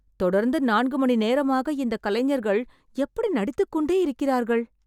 தொடர்ந்து நான்கு மணி நேரமாக இந்த கலைஞர்கள் எப்படி நடித்துக் கொண்டே இருக்கிறார்கள்